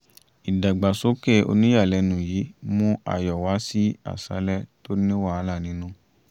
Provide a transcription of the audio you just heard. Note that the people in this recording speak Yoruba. ìdàgbàsókè oníyàlẹ́nu yìí mú ayọ̀ wá sí àṣálẹ́ tó ní wàhálà nínú